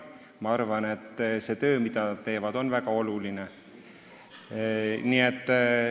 Ma arvan, et see töö, mida nad teevad, on väga oluline.